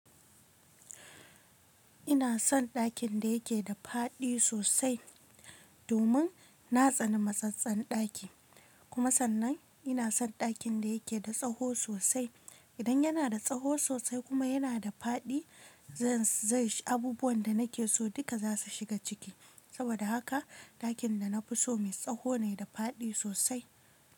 Ina son ɗakin da yake da faɗi sosai domin na tsani matsatsen ɗaki, kuma sannan ina son ɗakin da yake da tsawo sosai. Idan yana da tsawo sosai kuma yana da faɗi, zai shiga abubuwan da nake so duka za su shiga ciki. Saboda haka ɗakin da na fi so mai tsawo ne da faɗi sosai.